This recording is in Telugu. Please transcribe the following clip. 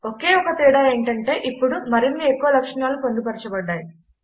ఒకే ఒక తేడా ఏంటంటే ఇప్పుడు మరిన్ని ఎక్కువ లక్షణాలు పొందుపరచబడ్డాయి